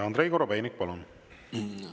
Andrei Korobeinik, palun!